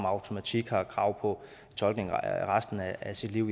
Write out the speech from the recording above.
automatik har krav på tolkning resten af sit liv